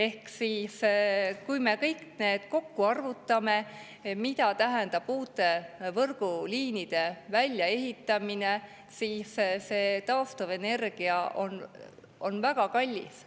Kui me selle kõik kokku arvutame, mida tähendab uute võrguliinide väljaehitamine, siis on taastuvenergia väga kallis.